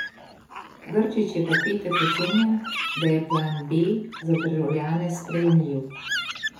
Grčić je v petek ocenil, da je plan B za državljane sprejemljiv.